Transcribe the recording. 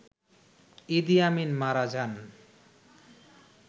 ইদি Amin মারা যান